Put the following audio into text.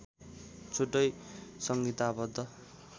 छुट्टै संहिताबद्द